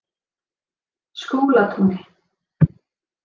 Skúlatúni